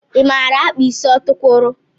I maara akpa ịsị ọtukwuru?